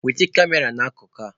Wete Kamera n'akụkụ a!.